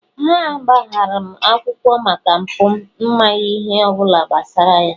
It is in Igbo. ha gbara m akwụkwọ maka mpụ m maghị ihe ọ bụla gbasara ya